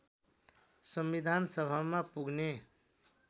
संविधानसभामा पुग्ने